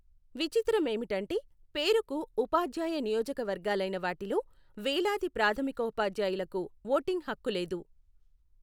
విచిత్ర మేమిటంటే పేరుకు ఉపాధ్యాయ నియోజక వర్గాలైనా వాటిలో వేలాది ప్రాథమికోపాధ్యాయులకు ఓటింగు హక్కులేదు.